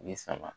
Ni sama